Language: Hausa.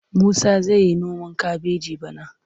Musa zai yi noman kabeji bana.